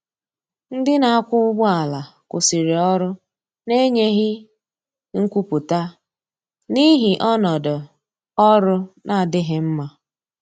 Ndi na akwa ụgbọ ala kwụsiri ọrụ na enyeghi nkwụputa n'ihi ọnọdọ ọrụ na-adighi mma.